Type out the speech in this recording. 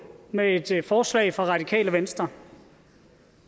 med et forslag fra radikale venstre